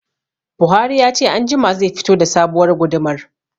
Buhari ya ce anjima zai fito da sabuwar gudumar